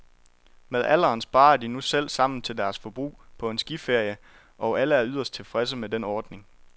Med alderen sparer de nu selv sammen til deres forbrug på en skiferie, og alle er yderst tilfredse med den ordning.